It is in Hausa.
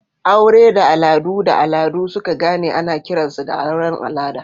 Aure da al'adu da al'adu suka gane ana kiransu da auren al'ada.